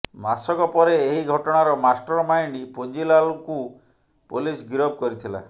ମାସକ ପରେ ଏହି ଘଟଣାର ମାଷ୍ଟର ମାଇଣ୍ଡ ପୁଞ୍ଜିଲାଲଙ୍କୁ ପୋଲିସ ଗିରଫ କରିଥିଲା